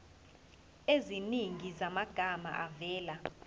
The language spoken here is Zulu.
eziningi zamagama avela